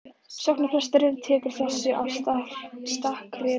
Sóknarpresturinn tekur þessu af stakri ró.